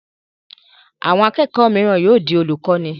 Àwọn akẹ́kọ̀ọ́ mìíràn yóò di olùkọ́ní.